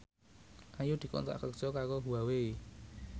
Ayu dikontrak kerja karo Huawei